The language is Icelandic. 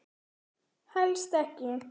Helst ekki.